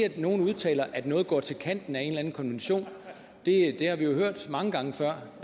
at nogle udtaler at noget går til kanten af en eller anden konvention har vi jo hørt mange gange før